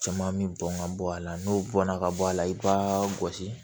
Caman mi bɔn ka bɔn a la n'o bɔnna ka bɔ a la i b'a gosi